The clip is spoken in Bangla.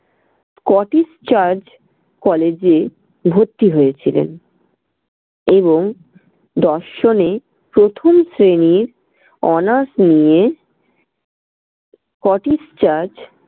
scottish church college এ ভর্তি হয়েছিলেন এবং দর্শনে প্রথম শ্রেনির honors নিয়ে scottish church